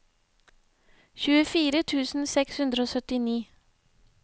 tjuefire tusen seks hundre og syttini